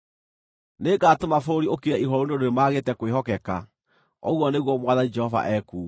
Nĩngatũma bũrũri ũkire ihooru nĩ ũndũ nĩmagĩte kwĩhokeka, ũguo nĩguo Mwathani Jehova ekuuga.”